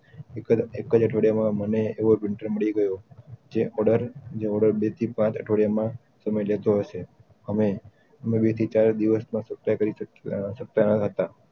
એકજ એકજ અઠવાડિયા માં મને એવો printer મળી ગયો જે ઓર્ડર પરથી પાંચ અઠવાડિયા માં સમય લેતો હશે હમે વેચી ચાર દિવસ માં છુટા કરી સકતા સકતા હતા